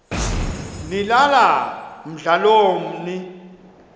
nilala mdlalomn l